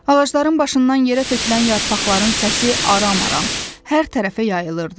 Ağacların başından yerə tökülən yarpaqların səsi aram-aram hər tərəfə yayılırdı.